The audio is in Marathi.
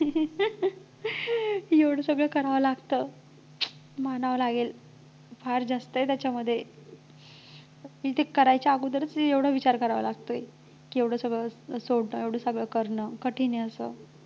एवढं सगळं करावं लागतं मानावं लागेल फार जास्त आहे त्याच्यामध्ये पण ते करायच्या अगोदरच की एवढा विचार करावा लागतोय की एवढं सगळं सोडणं की एवढं सगळं करणं कठीण आहे अस